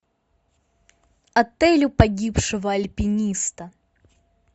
отель у погибшего альпиниста